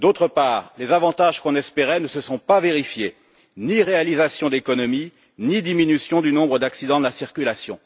Par ailleurs, les avantages qu'on espérait ne se sont pas vérifiés ni réalisation d'économies, ni diminution du nombre d'accidents de la circulation.